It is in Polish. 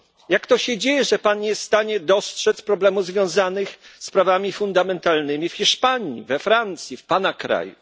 Jak to się dzieje, że pan nie jest w stanie dostrzec problemów związanych z prawami fundamentalnymi w Hiszpanii, we Francji, w pana kraju?